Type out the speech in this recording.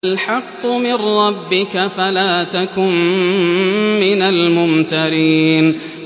الْحَقُّ مِن رَّبِّكَ فَلَا تَكُن مِّنَ الْمُمْتَرِينَ